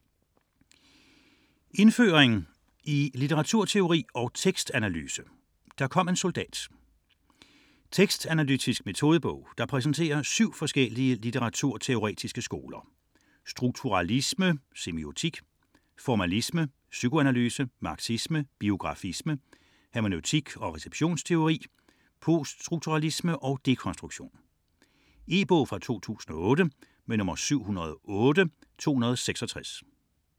80.15 Indføring i litteraturteori og tekstanalyse: der kom en soldat - Tekstanalytisk metodebog, der præsenterer syv forskellige litteraturteoretiske skoler: strukturalisme / semiotik, formalisme, psykoanalyse, marxisme, biografisme, hermeneutik / receptionsteori, poststrukturalisme / dekonstruktion. E-bog 708266 2008.